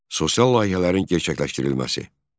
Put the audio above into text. Sosial layihələrin gerçəkləşdirilməsi.